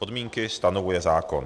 Podmínky stanovuje zákon.